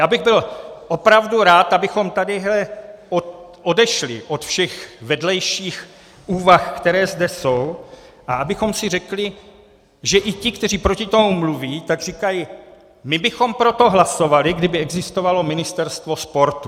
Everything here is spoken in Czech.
Já bych byl opravdu rád, abychom tady odešli od všech vedlejších úvah, které zde jsou, a abychom si řekli, že i ti, kteří proti tomu mluví, tak říkají: my bychom pro to hlasovali, kdyby existovalo ministerstvo sportu.